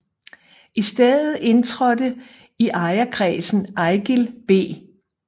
I stedet indtrådte i ejerkredsen Eigild B